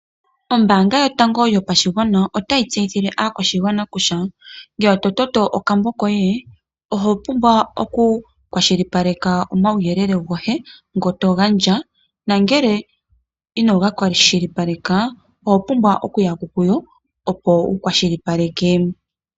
Ombaanga yotango yopashigwana otayi tseyithile aakwashigwana kutya, ngele to toto okambo koye oho pumbwa oku kwashilipaleka omawuyelele goye ngo togandja nangele inoga kwashilipaleka, oho pumbwa oku yako kuyo opo wu kwashilipaleke.